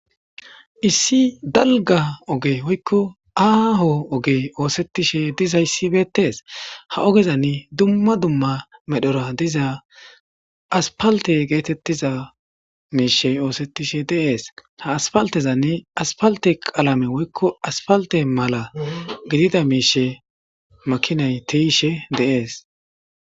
Issi dalga oge woykko aaho oge oosettishe dizayssi beettees ha ogezani dumma dumma medhora diza aspalte geetettiza miishe oosettishe deees ha aspaltezanne aspalte qalame woykko aspalte mala gidida miishe makinay tiishe deees.